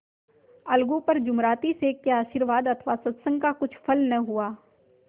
अलगू पर जुमराती शेख के आशीर्वाद अथवा सत्संग का कुछ फल न हुआ